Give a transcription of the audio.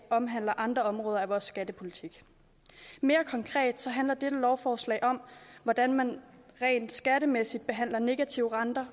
omhandler andre områder af vores skattepolitik mere konkret handler lovforslaget om hvordan man rent skattemæssigt behandler negative renter